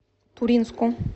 туринску